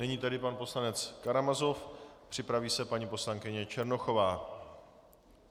Nyní tedy pan poslanec Karamazov, připraví se paní poslankyně Černochová.